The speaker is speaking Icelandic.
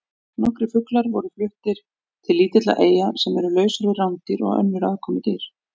Nokkrir fuglar voru fluttir til lítilla eyja sem eru lausar við rándýr og önnur aðkomudýr.